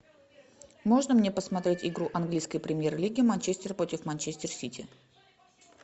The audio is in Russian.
можно мне посмотреть игру английской премьер лиги манчестер против манчестер сити